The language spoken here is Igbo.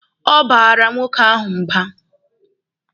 Ọ baara nwoke ahụ mba.